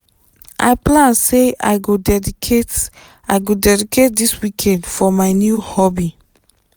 i plan say i go dedicate i go dedicate this weekend for my new hobby.